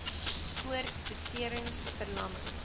koord beserings verlamming